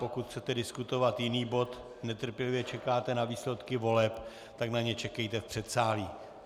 Pokud chcete diskutovat jiný bod, netrpělivě čekáte na výsledky voleb, tak na ně čekejte v předsálí.